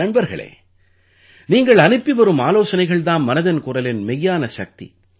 நண்பர்களே நீங்கள் அனுப்பிவரும் ஆலோசனைகள் தாம் மனதின் குரலின் மெய்யான சக்தி